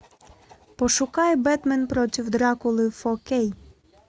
пошукай бэтмен против дракулы фо кей